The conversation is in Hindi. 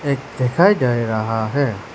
एक दिखाई दे रहा है।